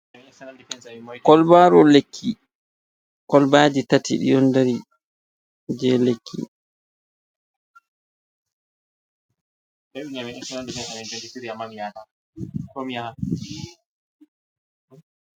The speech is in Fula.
Kolbaru lekki, kolbaji tati ɗi ɗon dari je lekki.